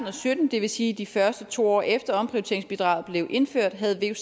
og sytten det vil sige de første to år efter at omprioriteringsbidraget blev indført havde